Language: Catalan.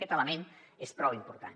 aquest element és prou important